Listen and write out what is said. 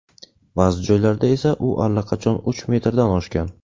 Ba’zi joylarda esa u allaqachon uch metrdan oshgan.